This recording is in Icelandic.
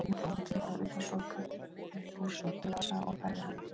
Að þessu loknu dró hún þykka ullarsokka upp úr svuntuvasa og færði hann í.